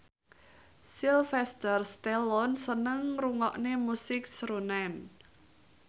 Sylvester Stallone seneng ngrungokne musik srunen